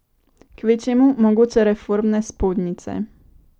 Kvečjemu mogoče reformne spodnjice.